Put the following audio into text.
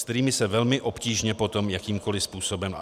S kterými se velmi obtížně potom jakýmkoli způsobem...